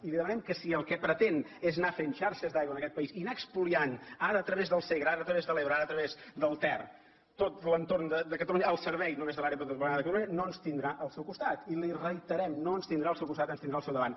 i li demanem que si el que pretén és anar fent xarxes d’aigua en aquest país i anar espoliant ara a través del segre ara a través de l’ebre ara a través del ter tot l’entorn de catalunya al servei només de l’àrea metropolitana de barcelona no ens tindrà al seu costat i li ho reiterem no ens tindrà al seu costat ens tindrà al seu davant